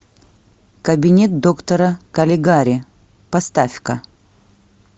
кабинет доктора калигари поставь ка